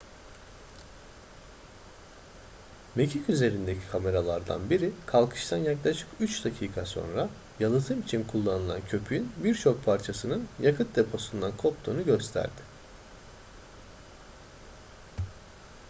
mekik üzerindeki kameralardan biri kalkıştan yaklaşık 3 dakika sonra yalıtım için kullanılan köpüğün birçok parçasının yakıt deposundan koptuğunu gösterdi